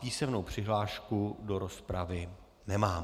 Písemnou přihlášku do rozpravy nemám.